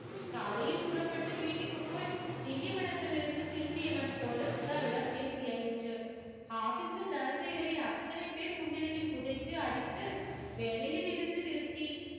காலையில் புறப்பட்டு வீட்டுக்கு போய் திண்டிவனத்தில் இருந்து திரும்பியவன் போல சுதாவிடம் பேசியாயிற்று. office ல் தனசேகரை அத்தனை பேர் முன்னிலையில் உதைத்து அடித்து வேலையில் இருந்து நிறுத்தி